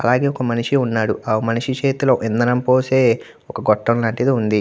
ఒక మనిషి ఉన్నాడు . యా మనిషి చేతుల్లో ఒక ఇందారం పోసే ఒక గొట్టం లాంటిది ఉంది.